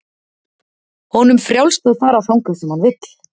Honum frjálst að fara þangað sem hann vill.